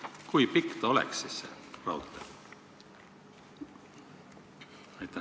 Kui pikk ta siis oleks, see raudtee?